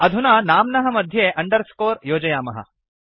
अधुना नाम्नः मध्ये अंडरस्कोर योजयामः